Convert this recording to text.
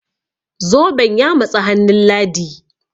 zoben ya matsi hannun ladi?